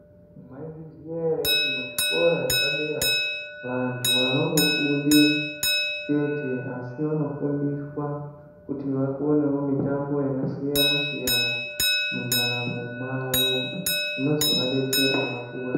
Maizviziya ere kuti muzvikora zvepadera vantu havangofundi chete asi vanofundiswa kuti vakonewo mitambo yakasiyana siyana mundaramo mwavo ino zovadetsera vakura?